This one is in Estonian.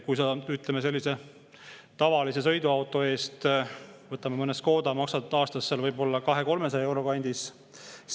Sellise tavalise sõiduauto eest, mõne Škoda eest maksad aastas võib-olla 200–300 euro kandis.